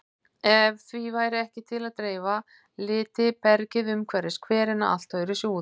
Ef því væri ekki til að dreifa liti bergið umhverfis hverina allt öðruvísi út.